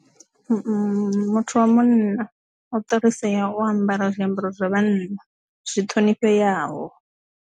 Muthu wa munna u transfer o ambara zwiambaro zwa vhanna zwi ṱhonifheaho.